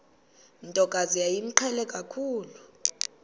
ntokazi yayimqhele kakhulu